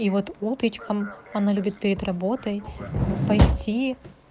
и вот утречком она любит перед работой пойти